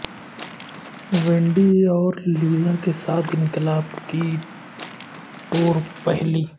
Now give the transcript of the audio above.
Wendy اور Lisa کے ساتھ انقلاب کی ٹور پہلی